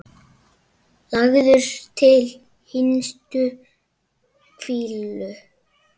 Lagður til hinstu hvílu?